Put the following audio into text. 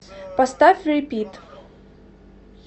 поставь рипит